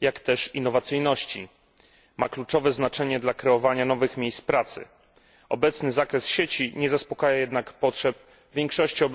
jak też innowacyjności. Ma kluczowe znaczenie dla kreowania nowych miejsc pracy. Obecny zakres sieci nie zaspokaja jednak potrzeb większości obywateli.